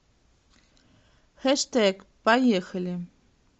хэштег поехали